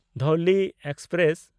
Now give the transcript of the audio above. Dhauli express